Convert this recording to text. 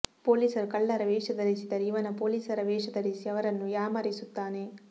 ಪೋಲಿಸರು ಕಳ್ಳರ ವೇಷ ಧರಿಸಿದರೆ ಇವನು ಪೋಲೀಸರ ವೇಷ ಧರಿಸಿ ಅವರನ್ನು ಯಾಮಾರಿಸುತ್ತಾನೆ